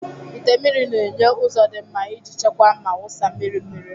ite mmiri na-enye ụzọ dị mma iji chekwaa ma wụsa mmiri mmiri.